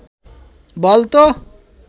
বল তো